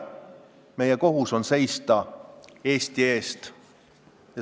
Meie kohus on seista Eesti eest.